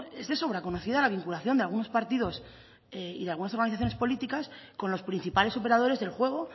es de sobra conocida la vinculación de algunos partidos y de algunas organizaciones políticas con los principales operadores del juego